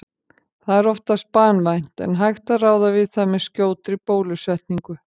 Það er oftast banvænt en hægt að ráða við það með skjótri bólusetningu.